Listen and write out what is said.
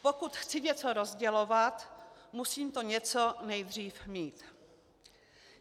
Pokud chci něco rozdělovat, musím to něco nejdřív mít.